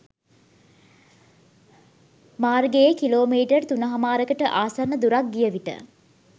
මාර්ගයේ කිලෝමීටර් තුනහමාරකට ආසන්න දුරක් ගියවිට